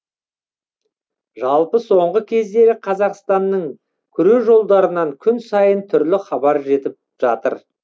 жалпы соңғы кездері қазақстанның күрежолдарынан күн сайын түрлі хабар жетіп жатыр